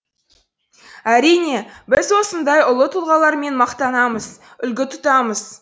әрине біз осындай ұлт тұлғалармен мақтанамыз үлгі тұтамыз